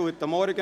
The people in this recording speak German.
Guten Morgen.